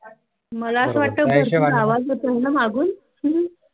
मला असा वाटतं आवाज येतोय मागून